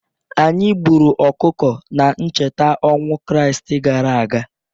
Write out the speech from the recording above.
Anyị gburu ọkụkọ na ncheta ọnwụ Kraịstị gara aga.